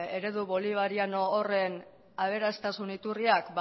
eredu bolivariano horren aberastasun iturriak